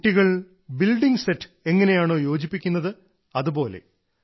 കുട്ടികൾ building set എങ്ങനെയാണോ യോജിപ്പിക്കുന്നത് അതുപോലെ